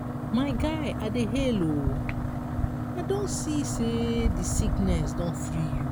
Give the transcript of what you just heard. my guy i dey hail o i don see sey di sickness don free you.